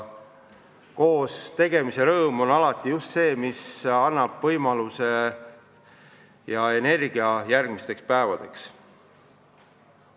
Koostegemise rõõm ongi see, mis annab energia järgmisteks päevadeks.